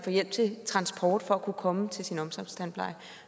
hjælp til transport for at kunne komme til omsorgstandplejen